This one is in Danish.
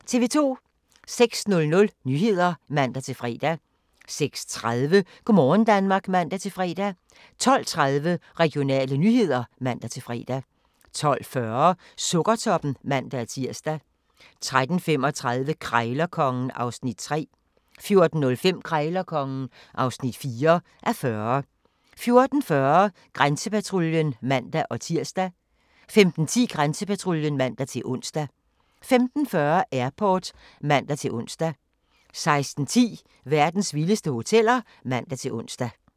06:00: Nyhederne (man-fre) 06:30: Go' morgen Danmark (man-fre) 12:30: Regionale nyheder (man-fre) 12:40: Sukkertoppen (man-tir) 13:35: Krejlerkongen (3:40) 14:05: Krejlerkongen (4:40) 14:40: Grænsepatruljen (man-tir) 15:10: Grænsepatruljen (man-ons) 15:40: Airport (man-ons) 16:10: Verdens vildeste hoteller (man-ons)